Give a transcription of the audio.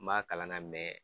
N b'a kalan na